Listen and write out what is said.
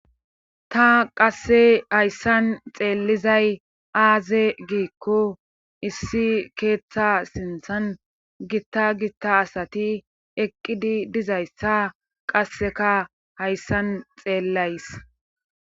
ta qasse hayssan xeellizay aaze giikko issi keeththa sinthan gitta gitta asati eqqidi dizayssa qasseka hayssan xeellays